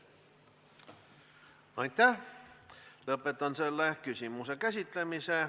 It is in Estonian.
Aitäh, lõpetan selle küsimuse käsitlemise.